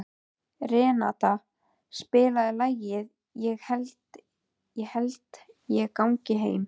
Renata, spilaðu lagið „Ég held ég gangi heim“.